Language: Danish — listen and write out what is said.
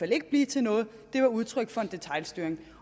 ikke bliver til noget at det var udtryk for detailstyring